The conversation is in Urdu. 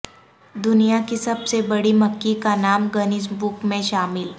دنیا کی سب سے بڑی مکھی کا نام گنیز بک میں شامل